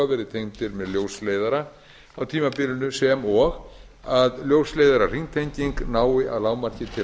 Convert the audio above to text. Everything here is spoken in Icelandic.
verði tengdir með ljósleiðara á tímabilinu sem og ljósleiðarahringtenging nái að lágmarki til